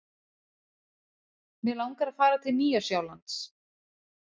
Mig langar að fara til Nýja-Sjálands.